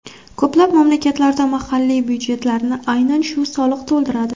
Ko‘plab mamlakatlarda mahalliy byudjetlarni aynan shu soliq to‘ldiradi.